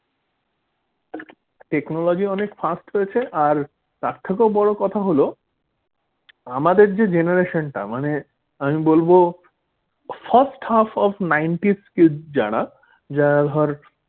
technology অনেক fast হয়েছে আর তার থেকেও বড় কথা হলো আমাদের যে generation টা মানে। আমি বলব first half of নব্বাই kid যারা যারা ধর,